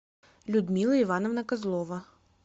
людмила ивановна козлова